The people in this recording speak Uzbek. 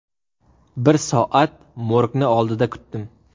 Bir soat morgni oldida kutdim.